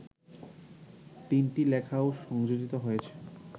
তিনটি লেখাও সংযোজিত হয়েছে